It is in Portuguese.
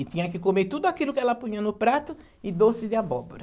E tinha que comer tudo aquilo que ela punha no prato e doce de abóbora.